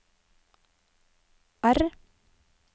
R